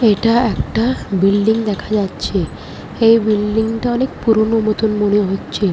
এটা একটা বিল্ডিং দেখা যাচ্ছে। এই বিল্ডিং টা অনেক পুরোনো মতন মনে হচ্ছে ।